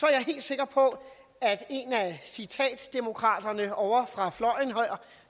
jeg helt sikker på at en af citatdemokraterne ovre fra fløjen